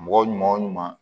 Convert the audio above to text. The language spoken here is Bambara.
Mɔgɔ ɲuman o ɲuman